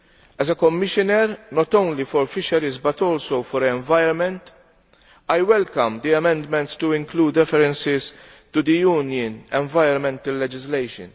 As a Commissioner not only for fisheries but also for the environment, I welcome the amendments to include references to the Union environmental legislation.